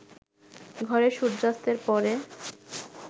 ঘরে সূর্যাস্তের পরে